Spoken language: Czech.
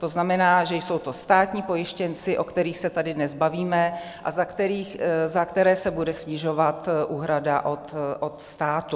To znamená, že jsou to státní pojištěnci, o kterých se tady dnes bavíme a za které se bude snižovat úhrada od státu.